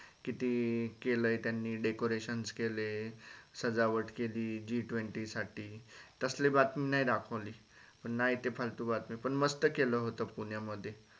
कि ते केल त्यांनी decorations केले सजावट केली G Twenty साठी तसली बातमी नाई दाखवली नाई ते फालतू बातमी पण मस्त केल होत पुण्यामध्य